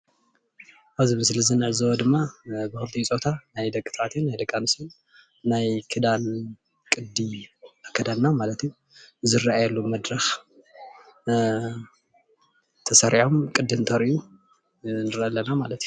ኣብዚ ምስሊ እንዕዘቦ ድማ ብ ክልቲኡ ፆታ ናይ ደቂ ተባዕትዮን ናይ ደቂ ኣነስትዮን ናይ ክዳን ቅዲ ኣከዳድና ማለት እዩ ዝረኣየሉ መድረክ ተሰሪዖም ቅዲ እንተርእዩ ንርኢ ኣለና ማለት እዩ፡፡